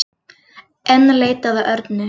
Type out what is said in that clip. Enn leitað að Örnu